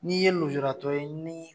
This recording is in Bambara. N'i ye lujuraratɔ ye ni